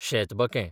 शेतबकें